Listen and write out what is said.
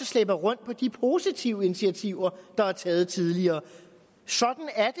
slæber rundt på de positive initiativer der er taget tidligere sådan er